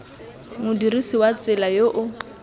modirisi wa tsela yo o